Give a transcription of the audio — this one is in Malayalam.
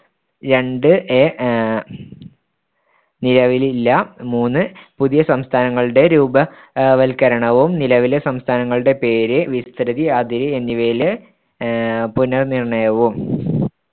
രണ്ട് A നിലവിലില്ല മൂന്ന് പുതിയ സംസ്ഥാനങ്ങളുടെ രൂപവത്കരണവും നിലവിലെ സംസ്ഥാനങ്ങളുടെ പേര്‌ വിസ്‌തൃതി അതിരു് എന്നിവയിലെ അഹ് പുനർനിർണ്ണയവും